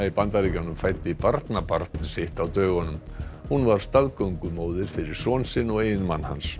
í Bandaríkjunum fæddi barnabarn sitt á dögunum hún var staðgöngumóðir fyrir son sinn og eiginmann hans